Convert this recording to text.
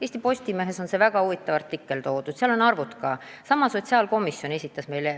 Eesti Postimehes on selle kohta väga huvitav artikkel, kus on arvud ka kirjas.